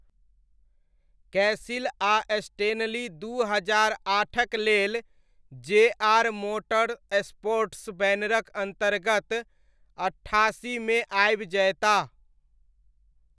कैसिल आ स्टेनली दू हजार आठक लेल जे.आर. मोटरस्पोर्ट्स बैनरक अन्तर्गत अट्ठासीमे आबि जयताह।